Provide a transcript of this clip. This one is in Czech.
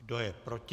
Kdo je proti?